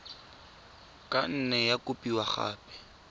ka nne ya kopiwa gape